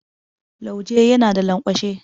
Lauje yana da lanƙwashe.